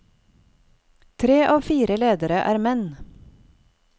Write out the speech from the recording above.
Tre av fire ledere er menn.